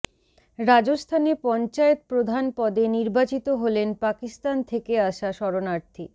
রাজস্থানে পঞ্চায়েত প্রধান পদে নির্বাচিত হলেন পাকিস্তান থেকে আসা শরণার্থী